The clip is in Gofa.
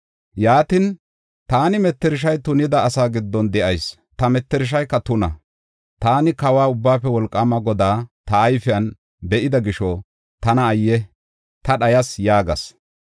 Yaatin, “Taani mettershay tunida asaa giddon de7ayis; ta mettershayka tuna. Taani Kawa, Ubbaafe Wolqaama Godaa ta ayfen be7ida gisho, tana ayye! Ta dhayas!” yaagas.